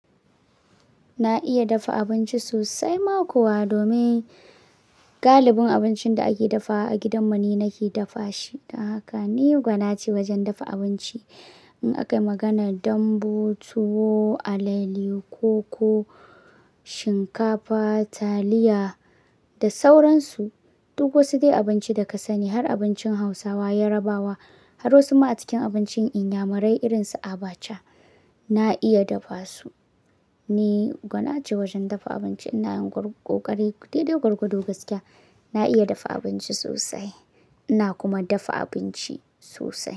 Na iya dafa abinci sosai ma kuwa domin galibin abincin da ake dafawa a gidanmu ni nake dafa shi. Don haka ni gwanace wajen dafa abinci. In aka yi maganar Dambu, Tuwo, Alale ko Shinkafa, Taliya da sauransu, duk wasu dai abinci da ka sani har abincin Hausawa, Yarbawa har wasu ma a cikin abincin Inyamurai irin su Abacha, na iya dafa su. Ni gwanace wajen dafa abinci. Ina yin ƙoƙari, dai dai gwargwado gaskiya. Na iya dafa abinci sosai. Na kuma dafa abinci sosai.